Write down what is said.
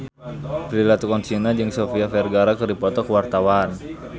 Prilly Latuconsina jeung Sofia Vergara keur dipoto ku wartawan